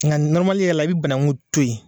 Nka yɛrɛ la i bɛ banaku to yen.